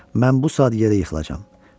Mən bu saat yerə yıxılacam.